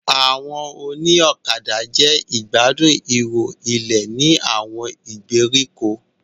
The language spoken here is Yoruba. Àwọn òní ọ̀kadà jẹ́ ìgbádùn ihò ilé ní àwọn ìgbèríko.